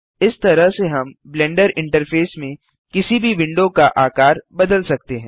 इस तरह से हम ब्लेंडर इंटरफेस में किसी भी विंडो का आकार बदल सकते हैं